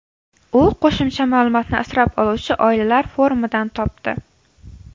U qo‘shimcha ma’lumotni asrab oluvchi oilalar forumidan topdi.